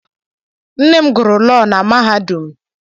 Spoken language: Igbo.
Nne m gụrụ lọọ na mahadum.